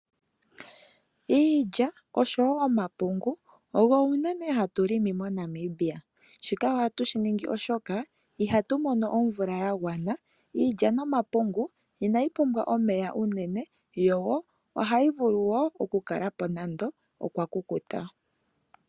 Iilya osho wo omapungu ogo unene hatu longo moNamibia. Shika ohatu shi ningi oshoka ihatu mono omvula ya gwana. Iilya nomapungu inayi pumbwa omeya ogendji unene yo ohayi vulu okukala po nande okwakukuta.